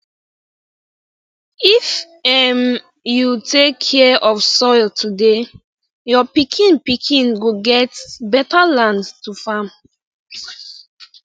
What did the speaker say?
if um you take care of soil today your pikin pikin go get beta land to farm